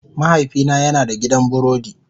Mahaifina yana da gidan burodi.